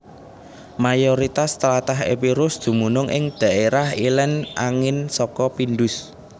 Mayoritas tlatah Epirus dumunung ing dhaérah ilèn angin saka Pindus